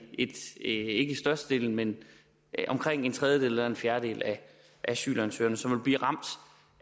ikke størstedelen men omkring en tredjedel eller fjerdedel af asylansøgere som vil blive ramt